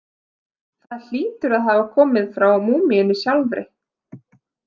Það hlýtur að hafa komið frá múmíunni sjálfri.